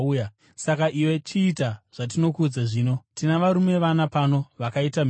saka iwe chiita zvatinokuudza zvino. Tina varume vana pano vakaita mhiko.